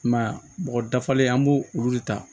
I m'a ye mɔgɔ dafalen an b'o olu de ta